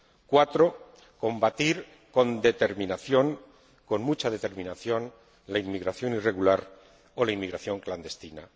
cuatro, combatir con determinación, con mucha determinación, la inmigración irregular o la inmigración clandestina